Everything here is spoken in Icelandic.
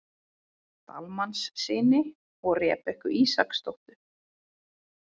Dalmannssyni og Rebekku Ísaksdóttur.